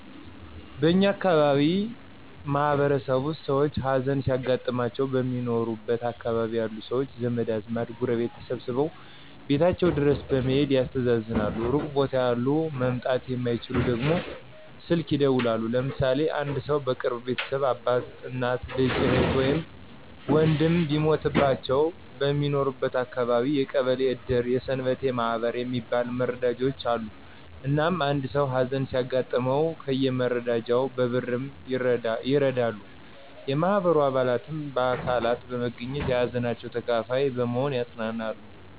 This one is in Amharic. በእኛ አካባቢ ማህበረሰብ ውስጥ ሰውች ሀዘን ሲያጋጥማቸው በሚኖሩበት አካባቢ ያሉ ሰውች ዘመድ አዝማድ ጎረቤቶች ተሰባስበው ቤታቸው ድረስ በመሔድ ያስተዛዝናሉ ሩቅ ቦታ ያሉ መምጣት የማይችሉት ደግሞ ስልክ ይደውላሉ። ለምሳሌ አንድ ሰው የቅርብ ቤተሰብ አባት፣ እናት፣ ልጅ፣ እህት ወይም ወንድም ቢሞትባቸው በሚኖርበት አካባቢ የቀበሌ እድር የሰንበቴ ማህበር የሚባል መረዳጃውች አሉ። እናም አንድ ሰው ሀዘን ሲያጋጥመው ከየመረዳጃውቹ በ ብርም ይረዳሉ፣ የማህበሩ አባላትም በአካልም በመገኝት የሀዘናቸው ተካፋይ በመሆን ያፅናናሉ።